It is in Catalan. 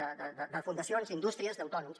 de fundacions d’indústries d’autònoms